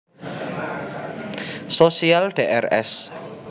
Sosial Drs